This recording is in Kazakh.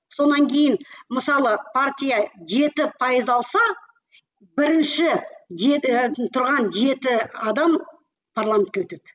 сонан кейін мысалы партия жеті пайыз алса бірінші тұрған жеті адам парламентке өтеді